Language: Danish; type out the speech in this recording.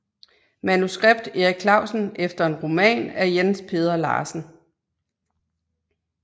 Manuskript Erik Clausen efter en roman af Jens Peder Larsen